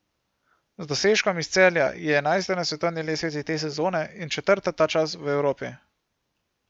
Z dosežkom iz Celja je enajsta na svetovni lestvici te sezone in četrta ta čas v Evropi.